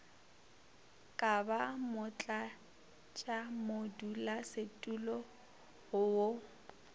ka ba motlatšamodulasetulo go wo